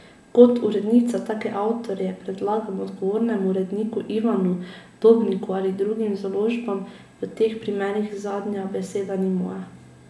Kot urednica take avtorje predlagam odgovornemu uredniku Ivanu Dobniku ali drugim založbam, v teh primerih zadnja beseda ni moja.